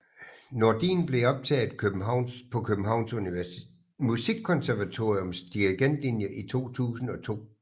Nordin blev optaget på Københavns Musikkonservatoriums dirigentlinje i 2002